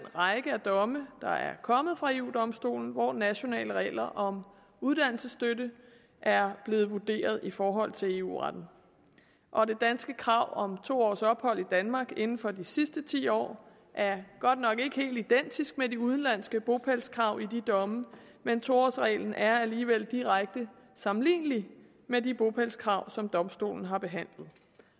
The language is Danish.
række af domme der er kommet fra eu domstolen hvor nationale regler om uddannelsesstøtte er blevet vurderet i forhold til eu retten og det danske krav om to års ophold i danmark inden for de sidste ti år er godt nok ikke helt identisk med de udenlandske bopælskrav i de domme men to årsreglen er alligevel direkte sammenlignelig med de bopælskrav som domstolen har behandlet det